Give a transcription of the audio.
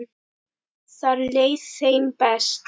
Þar leið þeim best.